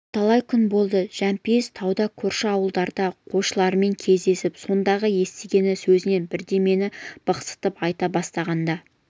бірталай күн болды жәмпейіс тауда көрші ауылдардың қойшыларымен кездесіп сондағы естіген сөзінен бірдемені бықсытып айта бастағанда